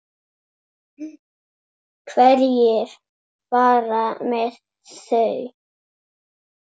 Hverjir fara með þau?